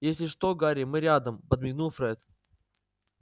если что гарри мы рядом подмигнул фред